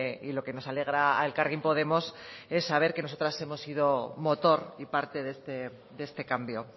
y lo que nos alegra a elkarrekin podemos es saber que nosotras hemos sido motor y parte de este cambio